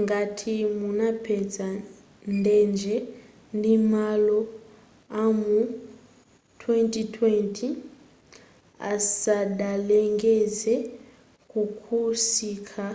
ngati munapeza ndege ndi malo amu 2020 asadalengeze zakusintha